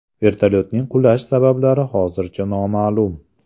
Vertolyotning qulash sabablari hozircha noma’lum.